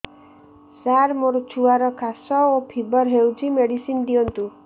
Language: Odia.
ସାର ମୋର ଛୁଆର ଖାସ ଓ ଫିବର ହଉଚି ମେଡିସିନ ଦିଅନ୍ତୁ